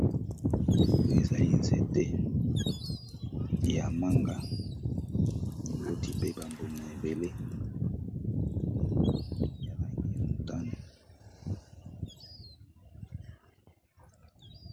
oyo ezali nzete ya manga miboti pe bambuma ebele ya langi ya mutane